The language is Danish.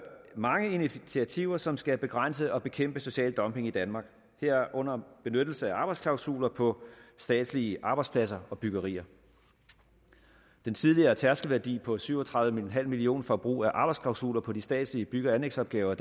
mange initiativer som skal begrænse og bekæmpe social dumping i danmark herunder benyttelse af arbejdsklausuler på statslige arbejdspladser og byggerier den tidligere tærskelværdi på syv og tredive million kroner for brug af arbejdsklausuler på de statslige bygge og anlægsopgaver